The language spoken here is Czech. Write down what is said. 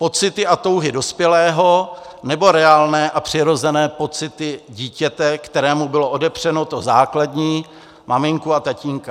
Pocity a touhy dospělého, nebo reálné a přirozené pocity dítěte, kterému bylo odepřeno to základní - maminku a tatínka?